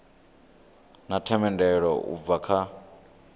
na themendelo u bva kha